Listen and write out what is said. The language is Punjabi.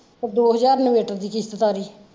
ਦੋ ਹਜ਼ਾਰ inverter ਦੀ ਕਿਸ਼ਤ ਤਾਰੀ।